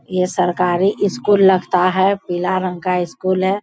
ये सरकारी स्‍कूल लगता है पीला रंग का स्‍कूल हैं।